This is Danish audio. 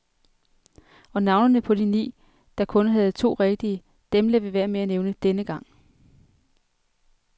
Og navnene på de ni, der kun havde to rigtige, dem lader vi være med at nævne denne gang.